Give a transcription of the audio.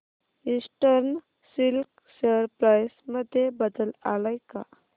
eastern silk share price मध्ये बदल आलाय का